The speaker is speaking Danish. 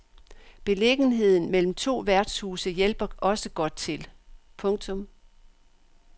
Beliggenheden mellem to værtshuse hjælper også godt til. punktum